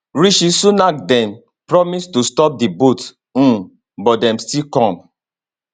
rishi sunak den promise to stop di boats um but dem still come